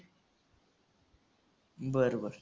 बरं बरं.